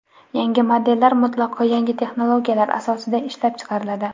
Yangi modellar mutlaqo yangi texnologiyalar asosida ishlab chiqariladi.